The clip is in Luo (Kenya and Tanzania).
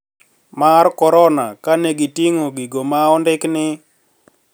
Mar korona ka ne giting`o gigo ma ondiki ni